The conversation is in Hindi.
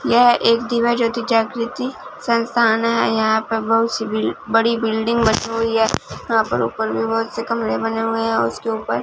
यह एक दिव्य ज्योति जागृती संस्थान है यहां पे बहुत सी बड़ी बिल्डिंग बनी हुई है यहां पर ऊपर बहोत से कमरे बने हुए हैं उसके ऊपर--